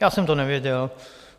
Já jsem to nevěděl.